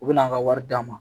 U bɛ n'an ka wari d'a ma